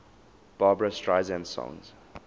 barbra streisand songs